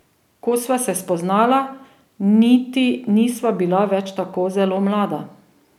Ko sva se spoznala, niti nisva bila več tako zelo mlada.